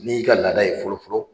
N'i y'i ka laada ye fɔlɔfɔlɔ